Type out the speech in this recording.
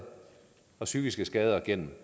og psykiske skader gennem